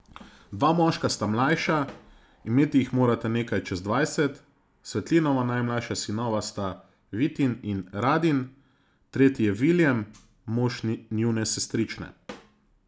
Dva moška sta mlajša, imeti jih morata nekaj čez dvajset, Svetlinova najmlajša sinova sta, Vitin in Radin, tretji je Viljem, mož njune sestrične.